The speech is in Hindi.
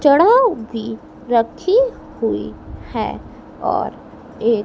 चढ़ाव भी रखी हुई है और एक--